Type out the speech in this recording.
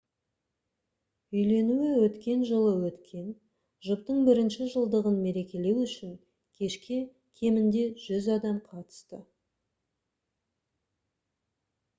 үйленуі өткен жылы өткен жұптың бірінші жылдығын мерекелеу үшін кешке кемінде 100 адам қатысты